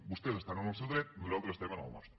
vostès estan en el seu dret nosaltres estem en el nostre